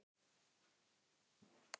Skiptir engu!